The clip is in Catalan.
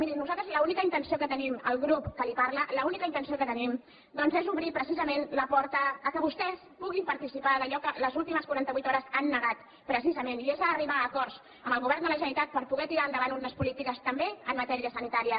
miri nosaltres l’única intenció que tenim el grup que li parla doncs és obrir precisament la porta perquè vostès puguin participar d’allò que les últimes quaranta vuit hores han negat precisament i és arribar a acords amb el govern de la generalitat per poder tirar endavant unes polítiques també en matèria sanitària